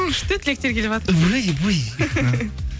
күшті тілектер келіватыр